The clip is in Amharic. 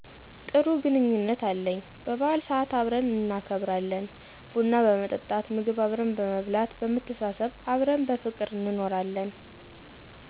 ጥሩ ግንኙነት አለኝ በበዓል ሰአት አብረን እናከብራለን፤ ቡና በመጠጣት ምግብ አብረን በመብላት በመተሳሰብ አብረን በፍቅር እንኖራለን።